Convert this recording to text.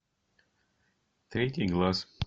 третий глаз